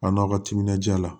A n'aw ka timinan ja la